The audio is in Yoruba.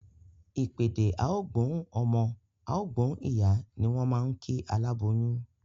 Ìpèdè "á gbóhùn ọmọ, á gbóhùn ìyá" ni wọ́n máa ń kí aláboyún